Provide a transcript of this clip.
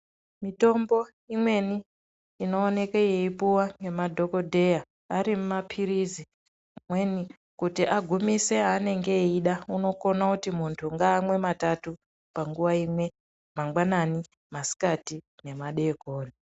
Mitombo imweni inoonekwe yeipuwa nemadhokodheya ari mapilizi amweni kuti agimise aanenge eida unokona kuti muntu ngaamwe matatu panguwa imwe mangwanani, masikati nemadeekoni